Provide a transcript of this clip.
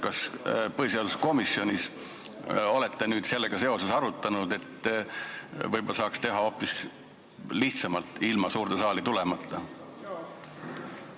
Kas te põhiseaduskomisjonis olete sellega seoses arutanud, et võib-olla saaks seda teha hoopis lihtsamalt, ilma suurde saali tulemata?